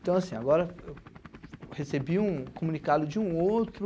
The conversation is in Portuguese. Então, assim, agora eu recebi um comunicado de um outro,